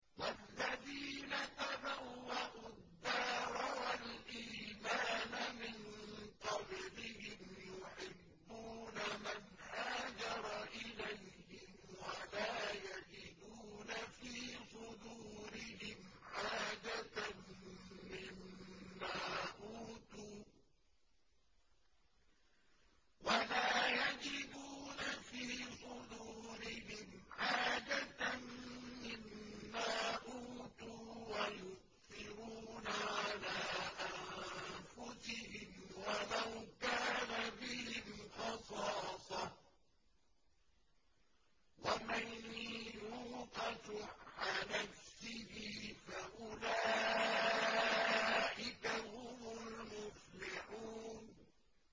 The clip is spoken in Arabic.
وَالَّذِينَ تَبَوَّءُوا الدَّارَ وَالْإِيمَانَ مِن قَبْلِهِمْ يُحِبُّونَ مَنْ هَاجَرَ إِلَيْهِمْ وَلَا يَجِدُونَ فِي صُدُورِهِمْ حَاجَةً مِّمَّا أُوتُوا وَيُؤْثِرُونَ عَلَىٰ أَنفُسِهِمْ وَلَوْ كَانَ بِهِمْ خَصَاصَةٌ ۚ وَمَن يُوقَ شُحَّ نَفْسِهِ فَأُولَٰئِكَ هُمُ الْمُفْلِحُونَ